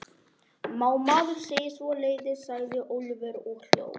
Má maður segja svoleiðis? sagði Ólafur og hló.